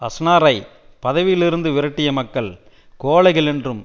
அஸ்னார்ஐ பதவியிலிருந்து விரட்டிய மக்கள் கோழைகள் என்றும்